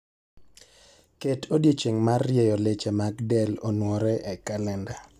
Ket odiechieng' mar rieyo leche mag del onwore e kalenda